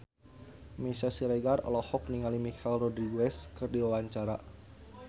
Meisya Siregar olohok ningali Michelle Rodriguez keur diwawancara